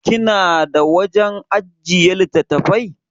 Kina da wajan ajjiye littattafai?